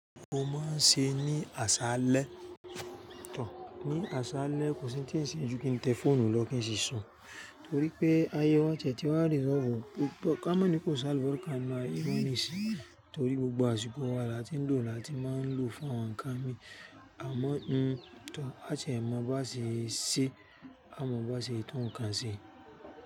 Mo máa ń ṣe ní aṣálẹ̀, ní aṣálẹ̀ kò sí ń tì se ju kí n tẹ fóònù lọ kí n ṣiṣun, torí pé ayẹ wa ti ee tí wà resolve, ka mọ̀ ní kò sálọ́ fọ́n ka ná ironi sí, torí pé gbogbo àsìkò wà á ti ń lò lo à ti máa ń lò fún àwọn nǹkan mi, àmọ́ à tiẹ máa baá ṣe é ṣe, a mò bá ṣe tun nǹkan ṣe.